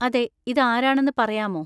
അതെ, ഇത് ആരാണെന്ന് പറയാമോ?